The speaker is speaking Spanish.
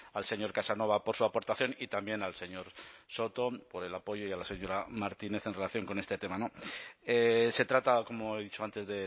al señor casanova por su aportación y también al señor soto por el apoyo y a la señora martínez en relación con este tema se trata como he dicho antes